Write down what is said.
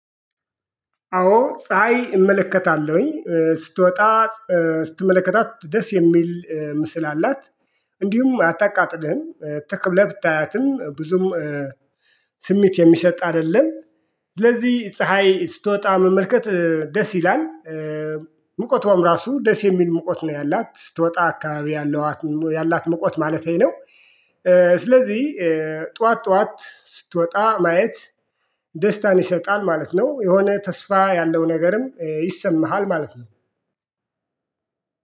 አዎ ፀሀይ እመለከታለሁኝ ስትወጣ ስትመለከታት ደስ የሚል ምስል አላት። እንዲሁም አታቃጥልህም ትክ ብለህ ብታያትም ብዙም ስሜት የሚሰጥ አይደለም። ስለዚህ ፀሀይ ስትወጣ መመልከት ደስ ይላል። ሙቀቷም ራሱ ደስ የሚል ሙቀት ነው ያላት ስትወጣ አካባቢ ያላት ሙቀት ማለቴ ነው። ስለዚህ ጠዋት ጠዋት ስትወጣ ማየት ደስታን ይሰጣል ማለት ነው። የሆነ ተስፋ ያለው ነገርም ይሰማሃል ማለት ነው።